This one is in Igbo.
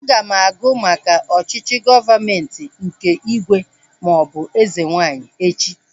Aga m agụ maka ọchịchị gọọmenti nke ígwè maọbụ eze nwaanyị echi